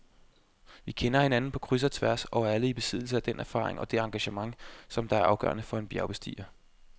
Vi kender hinanden på kryds og tværs og er alle i besiddelse af den erfaring og det engagement, som er afgørende for en bjergbestiger.